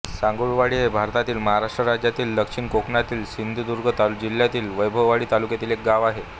सांगुळवाडी हे भारतातील महाराष्ट्र राज्यातील दक्षिण कोकणातील सिंधुदुर्ग जिल्ह्यातील वैभववाडी तालुक्यातील एक गाव आहे